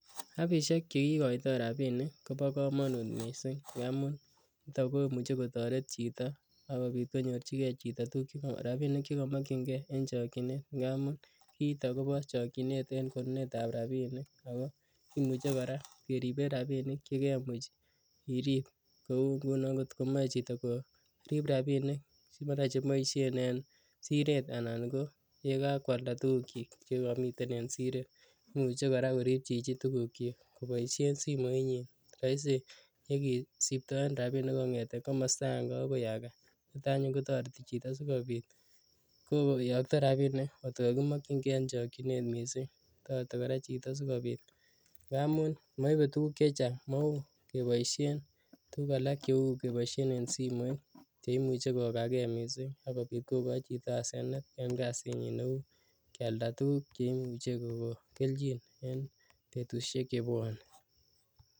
Apishek che ikoitoi rabinik ko bo komonut mising amun chuton komuche kotoret chito ak kobiit konyorchike chito tukuk rabinik che komokyinkee en chokyinet, ng'amun kiiton ko no chokyinet en konunetab rabinik ako kimuche kora keriben rabinik che kemuch irib, kou ng'unon ng'ot komoe chito korib rabinik si mara cheboisien en siret anan ko yekakwalda tugukyik che komiten en siret, imuche kora korib chichi tugukyik akoboisien simoinyin , roisi ye kisiptoen rabinik kong'eten komosto akeng'e akoi akee, niton anyun kotoreti chito sikobiit koyokto rabinik ng'ot ko kokimokyinke en chokyinet mising, toreti kora chito si kobiit ng'amun moibe tukuk chechang, mouu keboisien tukuk alak cheuu keboisien en simoit che imoche kogakee mising ak kobit kokoi chito asenet en kasinyin neu kialda tukuk che imuche kokon kelchin en betushek che bwone.